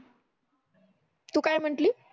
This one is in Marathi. तू काय म्हटली